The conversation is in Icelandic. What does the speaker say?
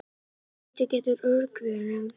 Hversu lítill getur örgjörvinn orðið?